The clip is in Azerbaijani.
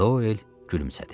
Doel gülümsədi.